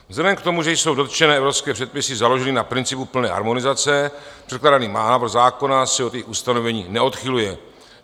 Vzhledem k tomu, že jsou dotčené evropské předpisy založeny na principu plné harmonizace, předkládaný návrh zákona se od jejich ustanovení neodchyluje.